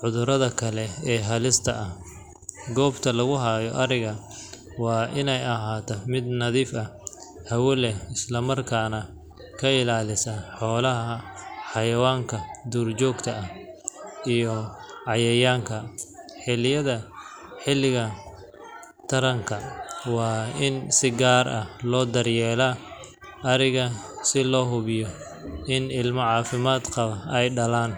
cudurrada kale ee halista ah. Goobta lagu hayo ariga waa inay ahaataa mid nadiif ah, hawo leh, isla markaana ka ilaalisa xoolaha xayawaanka duurjoogta ah iyo cayayaanka. Xilliyada xilliga taranka, waa in si gaar ah loo daryeelaa ariga si loo hubiyo in ilmo caafimaad qaba ay dhalaan.